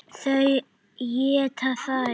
Þau éta þær.